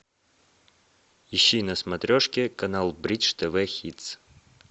ищи на смотрешке канал бридж тв хитс